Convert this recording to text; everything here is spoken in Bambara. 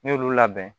N' y'olu labɛn